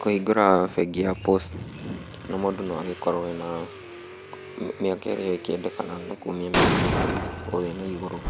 Kũhingũra bengi ya Posta, mũndũ no agĩkorwo ena, mĩaka ĩrĩa ĩngĩendekana nĩ kuma mĩaka ikũmi gũthiĩ na igũrũ.